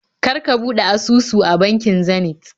Kar ka buɗe asusu a bankin Zenith